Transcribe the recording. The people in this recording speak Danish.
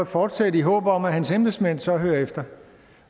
fortsætte i håb om at hans embedsmænd så hører efter